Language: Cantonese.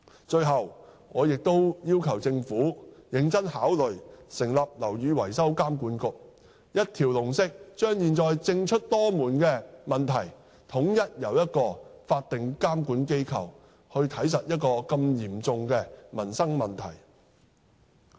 最後，我亦要求政府認真考慮成立樓宇維修監管局，一條龍地把現在政出多門的問題，統一由一個法定監管機構監察這麼嚴重的民生問題。